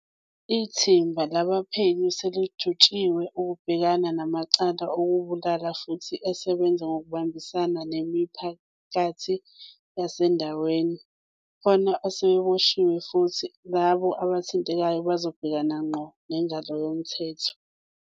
Ithimba labaphenyi selijutshwe ukubhekana namacala okubulala futhi asebenza ngokubambisana nemipha kathi yasendaweni. Kukhona asebeboshiwe futhi labo aba thintekayo bazobhekana ngqo nengalo yomthetho.